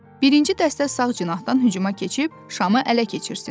Birinci dəstə sağ cinahdan hücuma keçib şamı ələ keçirsin.